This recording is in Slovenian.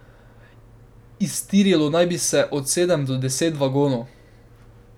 Iztirilo naj bi se od sedem do deset vagonov.